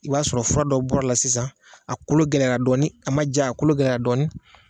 I b'a sɔrɔ fura dɔ bɔr'a la sisan, a kolo gɛlɛyara dɔɔni, a ma ja a kolo gɛɛya dɔɔni